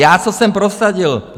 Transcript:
Já co jsem prosadil?